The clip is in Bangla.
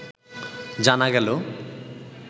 জানা গেলো